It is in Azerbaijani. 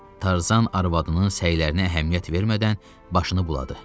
Tarzan arvadının səylərinə əhəmiyyət vermədən başını buladı.